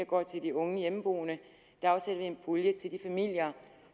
går til de unge hjemmeboende til de familier